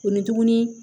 O ni tuguni